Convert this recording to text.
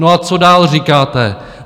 No a co dál říkáte?